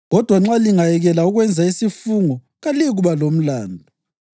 Kodwa nxa lingayekela ukwenza isifungo kaliyikuba lomlandu.